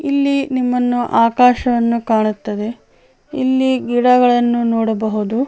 ಇಲ್ಲಿ ನಿಮ್ಮನ್ನು ಆಕಾಶವನ್ನು ಕಾಣುತ್ತದೆ ಇಲ್ಲಿ ಗಿಡಗಳನ್ನು ನೋಡಬಹುದು.